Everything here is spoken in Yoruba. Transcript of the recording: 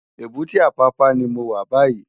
Ébùté Apapa ni mó wá bàyí